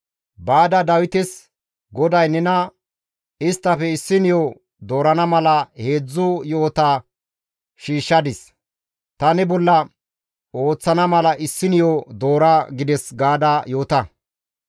«Baada Dawites, ‹GODAY nena isttafe issiniyo doorana mala heedzdzu yo7ota shiishshadis; ta ne bolla ooththana mala issiniyo doora› gides» gaada yoota.